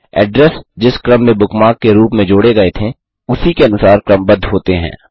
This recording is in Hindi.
एड्रेस जिस क्रम में बुकमार्क के रूप में जोडे गये थे उसी के अनुसार क्रमबद्ध होते हैं